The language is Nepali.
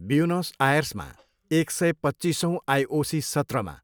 ब्युनस आयर्समा एक सय पच्चिसौँ आइओसी सत्रमा,